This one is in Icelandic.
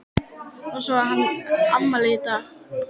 Og svo á hann afmæli í dag.